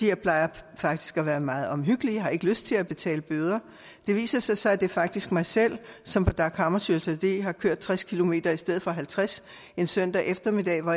jeg plejer faktisk at være meget omhyggelig jeg har ikke lyst til at betale bøder det viser sig så at det faktisk er mig selv som på dag hammarskjölds allé har kørt tres kilometer i stedet for halvtreds en søndag eftermiddag hvor